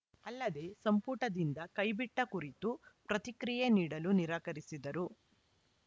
ಅಲ್ಲದೇ ಸಂಪುಟದಿಂದ ಕೈಬಿಟ್ಟಕುರಿತು ಪ್ರತಿಕ್ರಿಯೆ ನೀಡಲು ನಿರಾಕರಿಸಿದರು